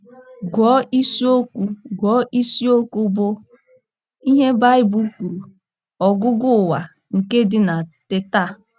Gụọ isiokwu Gụọ isiokwu bụ́ “ Ihe Baịbụl Kwuru — Ọgwụgwụ Ụwa, ” nke dị na Teta! a.